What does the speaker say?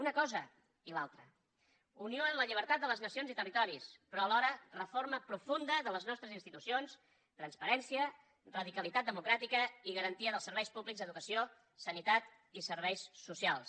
una cosa i l’altra unió en la llibertat de les nacions i territoris però alhora reforma profunda de les nostres institucions transparència radicalitat democràtica i garantia dels serveis públics d’educació sanitat i serveis socials